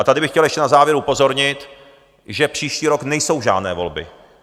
A tady bych chtěl ještě na závěr upozornit, že příští rok nejsou žádné volby.